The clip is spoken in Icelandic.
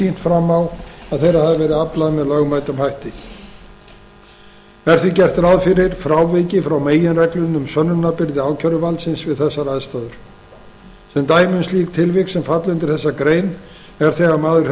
fram á að þeirra hafi verið aflað með lögmætum hætti er því gert ráð fyrir fráviki frá meginreglunni um sönnunarbyrði ákæruvaldsins við þessar aðstæður sem dæmi um slík tilvik sem falla undir þessa grein er þegar maður